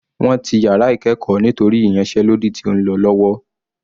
Wọ́n ti yàrá ìkẹ́ẹ̀kọ́ nítorí ìyánsẹ́lódì tí ó ń lọ lọ́wọ́.